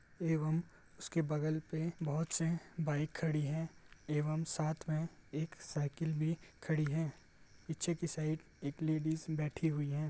एवम उसके बगल पे बहुत से बाइक खड़ी हैं एवम साथ में एक साइकिल भी खड़ी है पीछे की साइड एक लेडीज बैठी हुयी है।